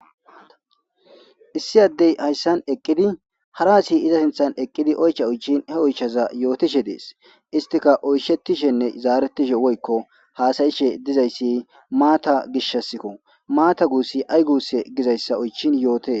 Issi addey hayssan eqqidi hara addeyiza sinththan eqqidi oychcha oychchin he oychchaza yootishe dees. Istikka oyshetishenne zaaretishe woykko haasa'ishe dizayssi maata gishshasikko maata guussi ayi guusse gizayssa oychchin yootes.